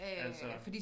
Altså